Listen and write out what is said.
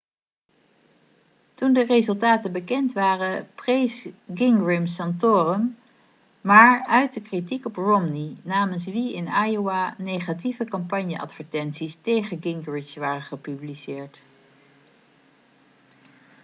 toen de resultaten bekend waren prees gingrich santorum maar uitte kritiek op romney namens wie in iowa negatieve campagneadvertenties tegen gingrich waren gepubliceerd